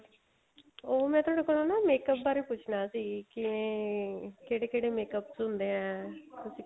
ਉਹ ਮੈਂ ਤੁਹਾਡੇ ਕੋਲੋ ਨਾ makeup ਬਾਰੇ ਪੁੱਛਣਾ ਸੀ ਕਿਵੇਂ ਕਿਹੜੇ ਕਿਹੜੇ makeup ਹੁੰਦੇ ਏ ਤੁਸੀਂ